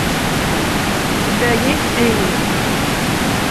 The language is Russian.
у тебя есть эни